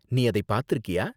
நீ அதை பாத்துருக்கியா?